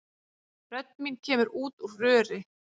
Rödd mín kemur út úr röri.